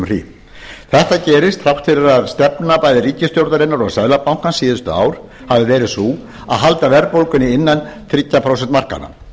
hríð þetta gerist þrátt fyrir að stefna bæði ríkisstjórnarinnar og seðlabankans síðasta ár hafi verið sú að halda verðbólgunni innan þriggja prósenta markanna